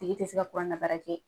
A tigi te se ka kurannabaara kɛ.